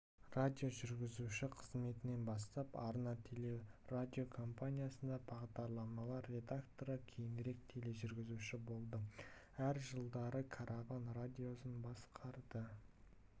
радиожүргізуші қызметінен бастап арна телерадиокомпаниясында бағдарламалар редакторы кейінірек тележүргізуші болды әр жылдары караван радиосын басқарды